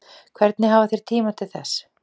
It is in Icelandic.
Hvernig hafa þeir tíma til þess